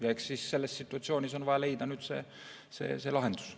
Ja eks selles situatsioonis on nüüd vaja leida lahendus.